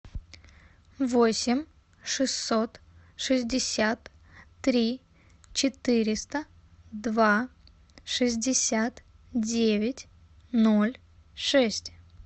восемь шестьсот шестьдесят три четыреста два шестьдесят девять ноль шесть